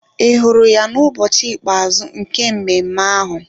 Ị hụrụ ya n'ụbọchị ikpeazụ nke mmemme ahụ?